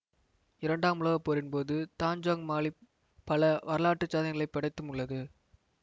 இரண்டாம் உலக போரின் போது தஞ்சோங் மாலிம் பல வரலாற்று சாதனைகளைப் படைத்தும் உள்ளது